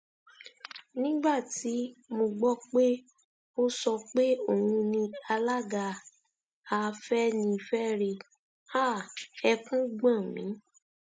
nígbà tí mo gbọ pé ó sọ pé òun ni alága afẹnifẹre háà ẹkún gbọn mi